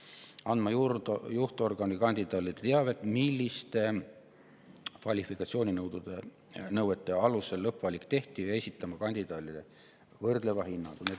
–, eelistama alaesindatud soost kandidaati; andma juhtorgani kandidaadile teavet, milliste kvalifikatsiooninõuete alusel lõppvalik tehti; esitama kandidaadile võrdleva hinnangu.